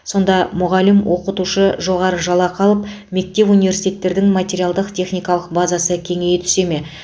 сонда мұғалім оқытушы жоғары жалақы алып мектеп университеттердің материалдық техникалық базасы кеңейе түсе ме